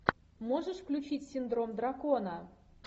можешь включить синдром дракона